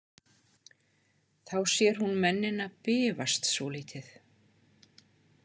Þá sér hún mennina bifast svolítið.